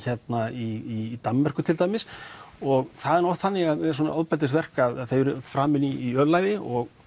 í Danmörku til dæmis og það er oft þannig með svona ofbeldisverk að þau eru framin í ölæði og